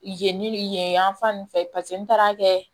Yen yen yan fan fɛ n taara kɛ